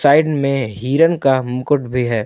Side में हिरण का मुकुट भी है।